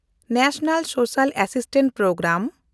national social assistance programme